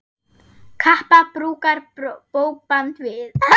Kappa brúkar bókband við.